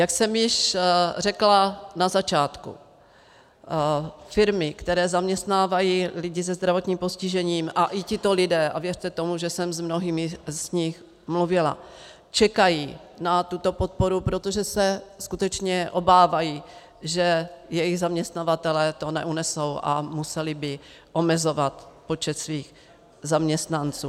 Jak jsem již řekla na začátku, firmy, které zaměstnávají lidi se zdravotním postižením, a i tito lidé, a věřte tomu, že jsem s mnohými z nich mluvila, čekají na tuto podporu, protože se skutečně obávají, že jejich zaměstnavatelé to neunesou a museli by omezovat počet svých zaměstnanců.